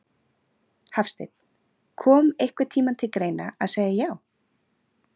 Hafsteinn: Kom einhvern tímann til greina að segja já?